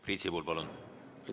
Priit Sibul, palun!